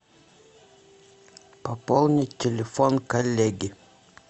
пополнить телефон коллеги